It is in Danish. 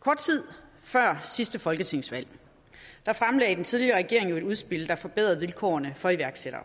kort tid før sidste folketingsvalg fremlagde den tidligere regering et udspil der skulle forbedre vilkårene for iværksættere